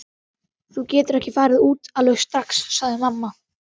Þú getur ekki farið út alveg strax, sagði mamma.